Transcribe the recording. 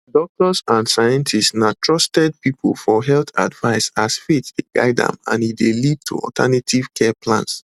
doctors and scientists na trusted people for health advice as faith dey guide am and e dey lead to alternative care plans